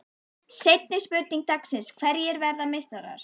Seinni spurning dagsins: Hverjir verða meistarar?